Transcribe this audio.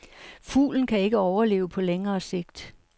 Fuglen kan ikke overleve på længere sigt.